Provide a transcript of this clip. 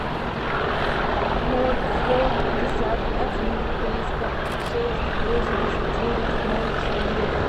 ноль сто пятьдесят один триста шесть восемьдесят девять ноль четыре